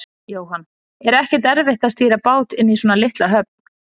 Jóhann: Er ekkert erfitt að stýra bát inn í svona litla höfn?